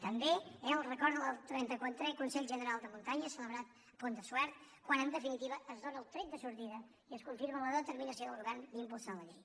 també el record del xxxiv consell general de muntanya celebrat al pont de suert quan en definitiva es dóna el tret de sortida i es confirma la determinació del govern d’impulsar la llei